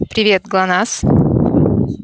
привет глонассс